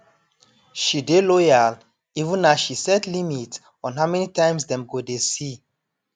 she dey loyal even as she set limit on how many times dem go dey see